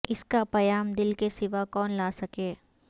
اس کا پیام دل کے سوا کون لا سکے